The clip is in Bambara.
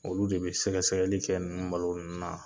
Olu de be sɛgɛ sɛgɛli kɛ nunnu malo nunnu na.